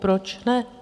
Proč ne?